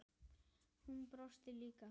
Hann brosir líka.